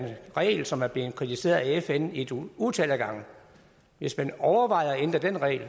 regel som er blevet kritiseret af fn et utal af gange hvis man overvejede at ændre den regel